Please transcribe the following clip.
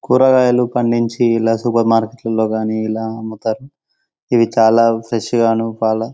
కూరగాయలు పండించి ఇలా సూపర్ మార్కెట్లో గాని ఇవి చాలా ఫ్రెష్ గాను పాల--